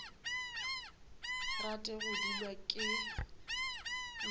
rate go dulwa ke nt